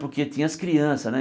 Porque tinha as crianças, né?